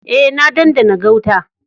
Eh, na dandana gauta.